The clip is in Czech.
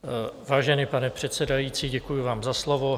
Vážený pane předsedající, děkuji vám za slovo.